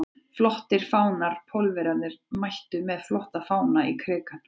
Flottir fánar Pólverjarnir mættu með flotta fána í Krikann.